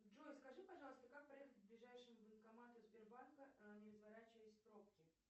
джой скажи пожалуйста как проехать к ближайшему банкомату сбербанка не разворачиваясь в пробке